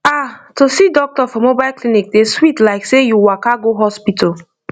ah to see doctor for mobile clinic dey sweet like say you waka go hospital